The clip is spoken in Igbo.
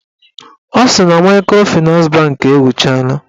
Ọ sị na maịkrofịnans bankị ewuchala